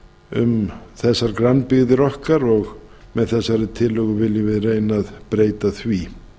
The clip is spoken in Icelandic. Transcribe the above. um þessar grannbyggðir okkar og með þessari tillögu viljum við reyna að breyta því